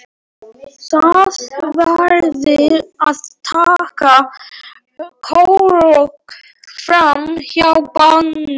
Þið verðið að taka krók fram hjá bænum.